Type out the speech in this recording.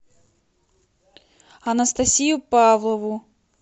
анастасию павлову